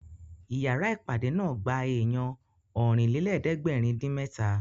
Ìyára ìpàdé náà gba èèyàn Ọ̀rìnlélẹ̀ẹ́dẹ́gbèrin-dín-mẹ́ta